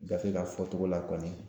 Gafe ka fɔcogo la kɔni